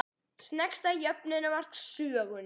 Sneggsta jöfnunarmark sögunnar?